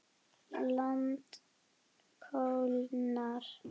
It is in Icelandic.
Land kólnar.